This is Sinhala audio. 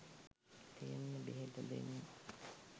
තියෙන්නෙ බෙහෙත දෙන්න.